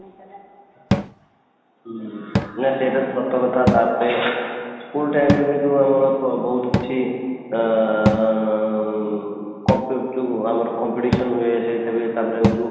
ହୁଁ ନା, ସେଇଟା ତ ସତ କଥା ତାପରେ school time ଯଦି ଆମର ବହୁତ କିଛି ଆଁ ଉଁ ଆମର competition ହୁଏ ତାପରେ ଏଇ ଯୋଉ